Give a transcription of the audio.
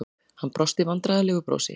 Hann brosti vandræðalegu brosi.